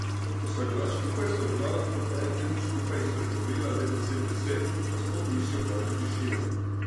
Ko sva bila skupaj, sva bila lahko po en teden skupaj in spregovorila le deset besed, pa sploh nisi opazil tišine.